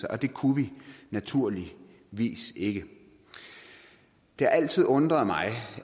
og det kunne vi naturligvis ikke det har altid undret mig